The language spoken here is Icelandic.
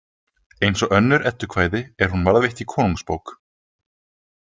Eins og önnur eddukvæði er hún varðveitt í Konungsbók .